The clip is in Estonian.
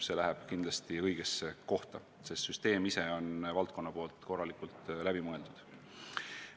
See läheb kindlasti õigesse kohta, sest süsteem ise on valdkonnas korralikult läbi mõeldud.